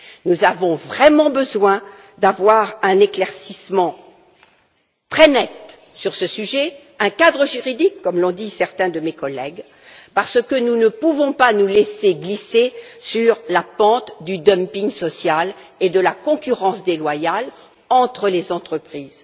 Nous avons vraiment besoin d'un éclaircissement très net sur ce sujet, d'un cadre juridique, comme l'ont dit certains de mes collègues, parce que nous ne pouvons pas nous laisser entraîner sur la pente du dumping social et de la concurrence déloyale entre les entreprises.